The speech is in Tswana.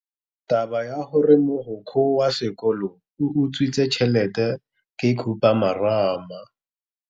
Taba ya gore mogokgo wa sekolo o utswitse tšhelete ke khupamarama.